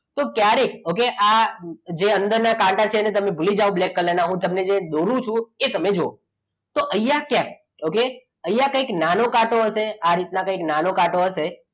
તો ક્યારે okay આ જ્યારે અંદરના કાંટા છે એને તમે ભૂલી જાવ black કલર હું જે દોરું છું એ તમે જુઓ તો અહીંયા ક્યાંક okay અહીંયા ક્યાંક નાનો કાંટો હશે આ રીતના નાનો કાંટો હશે